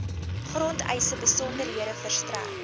grondeise besonderhede verstrek